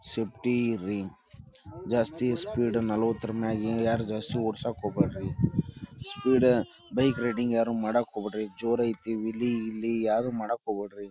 Safety ಇರ್ರಿ ಜಾಸ್ತಿ speed ನಲವತ್ತರ ಮ್ಯಾಗ ಯಾರು ಜಾಸ್ತಿ ಓಡ್ಸಾಕ್ ಹೋಗ್ಬ್ಯಾಡ್ರಿ ಸ್ಪೀಡ್ ಬೈಕ್ ರೈಡಿಂಗ್ ಯಾರು ಮಾಡಾಕ್ ಹೋಗ್ಬ್ಯಾಡ್ರಿ ಜೋರೈತಿ ವೀಲಿಂಗ್ ಇಲ್ಲಿ ಯಾರು ಮಾಡಾಕ್ ಹೋಗ್ಬ್ಯಾಡ್ರಿ .